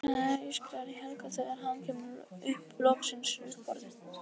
Hérna er allt, ískrar í Helga þegar hann kemur loksins upp orði.